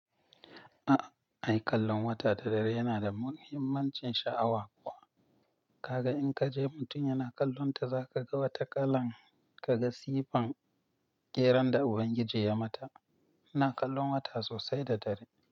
A'a, ai kallon wata da dare yana da muhimmancin sha'awa kuwa. Kaga in ka je mutum yana kallonta za ka ga wata kalan, ka ga sifan keran da Ubangiji ya mata. Ina kallon wata sosai da dare.